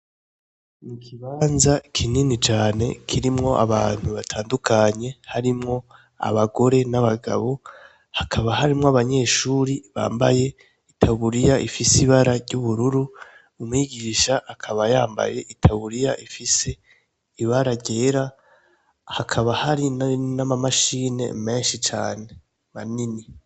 Mu kibanza kinini jane kirimwo abantu batandukanye harimwo abagore n'abagabo hakaba harimwo abanyeshuri bambaye itawuriya ifise ibara ry'ubururu umwigisha akaba yambaye itawuriya ifise ibara ryera hakaba harimo nbii n'amamashini menshi cane banini.